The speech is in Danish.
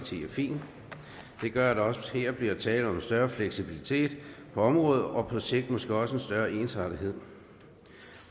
side er fint det gør at der også her bliver tale om en større fleksibilitet på området og på sigt måske også en større ensartethed